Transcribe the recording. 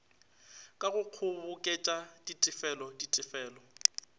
ka go kgoboketša ditefelo ditefelo